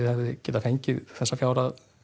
fengið þessa fjárhæð